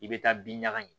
I bɛ taa bin ɲaga in